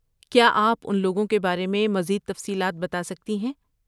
کیا آپ ان لوگوں کے بارے میں مزید تفصیلات بتا سکتی ہیں؟